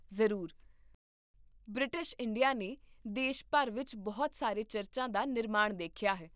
ਜ਼ਰੂਰ, British India ਨੇ ਦੇਸ਼ ਭਰ ਵਿੱਚ ਬਹੁਤ ਸਾਰੇ ਚਰਚਾਂ ਦਾ ਨਿਰਮਾਣ ਦੇਖਿਆ ਹੈ